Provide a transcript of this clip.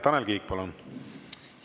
Tanel Kiik, palun!